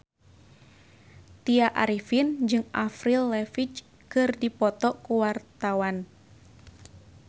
Tya Arifin jeung Avril Lavigne keur dipoto ku wartawan